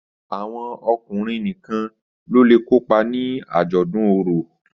Àwọn ọkùnrin nìkàn ló lẹ kopa ní ajọdun orò.